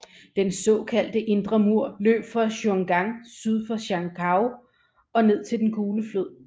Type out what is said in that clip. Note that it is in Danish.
Den såkalte indre mur løb fra Juyongguan syd for Zhangjiakou og ned til den Gule Flod